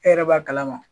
E yɛrɛ b'a kalama